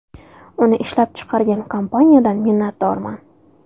Uni ishlab chiqargan kompaniyadan minnatdorman.